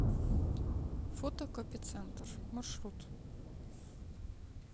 фотокопицентр маршрут